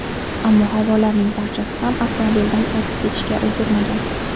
Ammo hayvonlarning barchasi ham avtomobildan o‘zib ketishga ulgurmagan.